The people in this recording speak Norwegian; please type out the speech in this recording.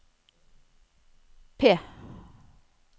P